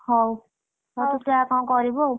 ହଉ, ହଉ ତୁ ଯା କଣ କରିବୁ ଆଉ।